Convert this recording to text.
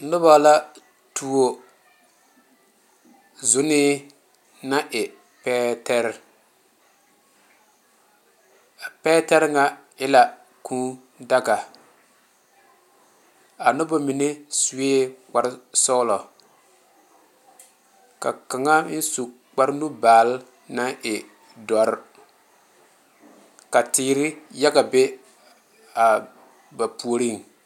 Noba la tuo zɔnne naŋ e pɛɛre a pɛɛre ŋa e la kūū daga a noba mine seɛ kpare sɔglɔ ka kaŋa meŋ su kpare nu baale naŋ e doɔre ka teere yaga be a ba puori.